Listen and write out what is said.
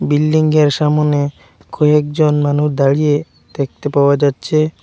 Building -এর সামোনে কয়েকজন মানু দাঁড়িয়ে দেখতে পাওয়া যাচ্ছে।